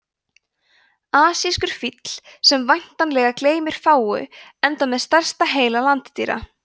asískur fíll sem væntanlega gleymir fáu enda með stærsta heila landdýra